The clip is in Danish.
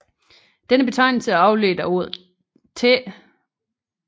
Denne betegnelse er afledt af ordet tä